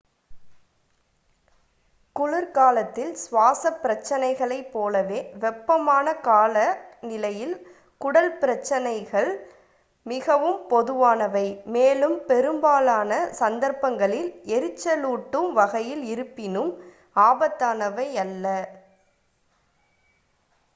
குளிர்காலத்தில் சுவாசப் பிரச்சினைகளைப் போலவே வெப்பமான காலநிலையில் குடல் பிரச்சினைகள் மிகவும் பொதுவானவை மேலும் பெரும்பாலான சந்தர்ப்பங்களில் எரிச்சலூட்டும் வகையில் இருப்பினும் ஆபத்தானவை அல்ல